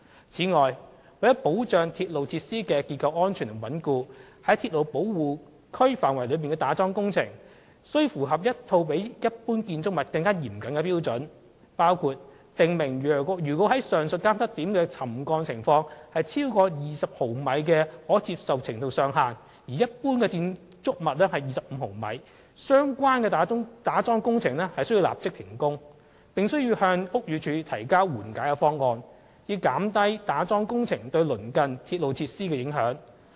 此外，為保障鐵路設施的結構安全和穩固，於鐵路保護區範圍內的打樁工程，須符合一套比一般建築物更嚴謹的標準，包括訂明當上述監測點的沉降情況超過20毫米的可接受程度上限時，須立即停止相關的打樁工程，並向屋宇署提交緩解方案，以減低對鄰近鐵路設施的影響。